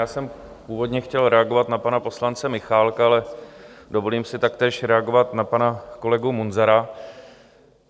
Já jsem původně chtěl reagovat na pana poslance Michálka, ale dovolím si taktéž reagovat na pana kolegu Munzara.